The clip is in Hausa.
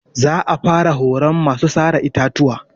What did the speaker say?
Za a fara horon masu sare itatuwa.